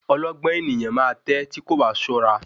Ọlọ́gbọ́n ènìyàn ma tè tí kò bá ṣọ́ra.